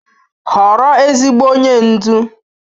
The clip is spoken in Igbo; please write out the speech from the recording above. Họrọ ezigbo onye ndu.